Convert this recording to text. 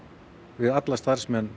við alla starfsmenn